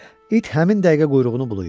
İt həmin dəqiqə quyruğunu bulayır.